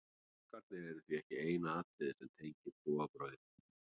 páskarnir eru því ekki eina atriðið sem tengir trúarbrögðin